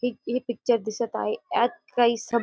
ठीक हे पिक्चर दिसत आहे यात काही सभ --